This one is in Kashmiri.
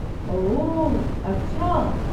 اوہ، اچھا۔